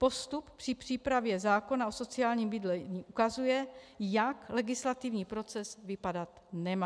Postup při přípravě zákona o sociálním bydlení ukazuje, jak legislativní proces vypadat nemá.